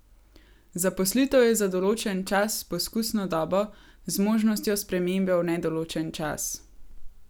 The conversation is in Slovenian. Zaposlitev je za določen čas s poskusno dobo z možnostjo spremembe v nedoločen čas.